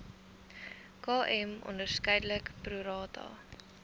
km onderskeidelik prorata